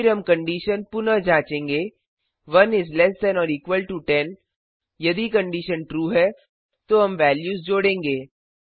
फिर हम कंडिशन पुनः जाँचेंगे 1 is less than or equal to 10 यदि कंडिशन ट्रू है तो हम वेल्यूज जोड़ेंगे